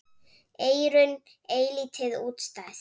Eyrun eilítið útstæð.